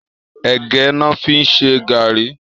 Ègë lò fi n ṣé gàrí